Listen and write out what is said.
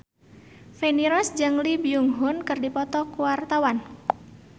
Feni Rose jeung Lee Byung Hun keur dipoto ku wartawan